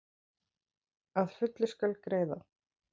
Að fullu skal greiða